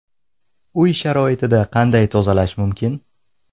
Uy sharoitida qanday tozalash mumkin?